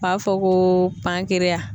U b'a fɔ ko